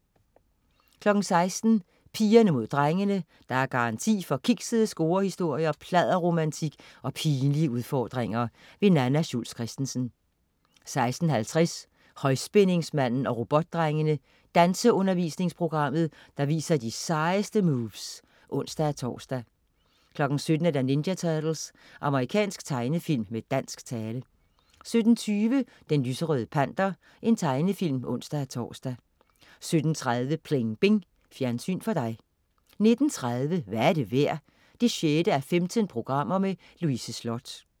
16.00 Pigerne mod drengene. Der er garanti for kiksede scorehistorier, pladderromantik og pinlige udfordringer. Nanna Schultz Christensen 16.50 Højspændingsmanden og Robotdrengene. Danseundervisningsprogrammet, der viser de sejeste moves (ons-tors) 17.00 Ninja Turtles. Amerikansk tegnefilm med dansk tale 17.20 Den lyserøde Panter. Tegnefilm (ons-tors) 17.30 Pling Bing. Fjernsyn for dig 19.30 Hvad er det værd? 6:15. Louise Sloth